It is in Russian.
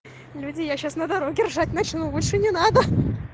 люди я сейчас на дороге ржать начну лучше не надо